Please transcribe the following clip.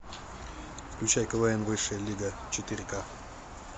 включай квн высшая лига четыре ка